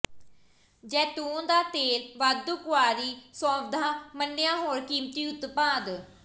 ਜ਼ੈਤੂਨ ਦਾ ਤੇਲ ਵਾਧੂ ਕੁਆਰੀ ਸੋਵਧਆ ਮੰਨਿਆ ਹੋਰ ਕੀਮਤੀ ਉਤਪਾਦ